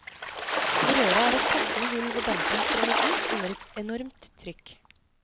I røret er det et passende hull hvor dampen strømmer ut under et enormt trykk.